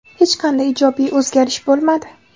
Hech qanday ijobiy o‘zgarish bo‘lmadi.